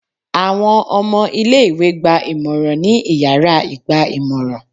Awọn ọmọ ìlé-ìwé gba ìmọrán ni ìyára igba-imọran